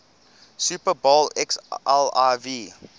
super bowl xliv